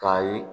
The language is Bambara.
K'a ye